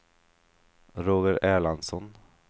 Roger Erlandsson